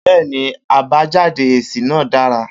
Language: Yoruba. Bẹ́ẹ́ni àbájáde èsì náà dára